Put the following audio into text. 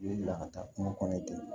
U ye bila ka taa kungo kɔnɔ yen ten